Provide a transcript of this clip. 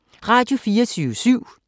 Radio24syv